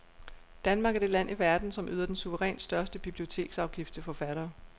Danmark er det land i verden, som yder den suverænt største biblioteksafgift til forfattere.